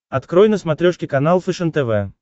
открой на смотрешке канал фэшен тв